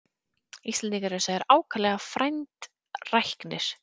Íslendingar eru sagðir ákaflega frændræknir.